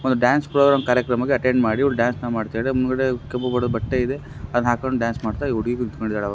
Dance programme ಕಾರ್ಯಕ್ರಮ attend ಮಾಡೋ dance ಮಾಡ್ತಾರೆ. ಬಟ್ಟೆ ಇದೆ ಅದು ಹಾಕ್ಕೊಂದು ಡ್ಯಾನ್ಸ್ ಮಾಡುತ್ತ ಹುಡುಗಿ ಕುಳಿತುಕೊಂಡು ಇದ್ದಾರೆ.